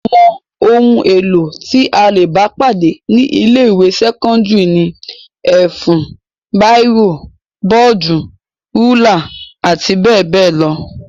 Àwọn ohun-èlò tí a le bá pàdé ní ilé-ìwé sẹ́kọ́ndárì ni; ẹ̀fún, bírò, bọ́ọ́dù, rúlà àti bẹ́ẹ̀ bẹ́ẹ̀ lọ.